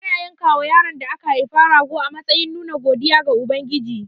Ana yankawa yaron da aka haifa rago a matsayin nuna godiya ga Ubangiji.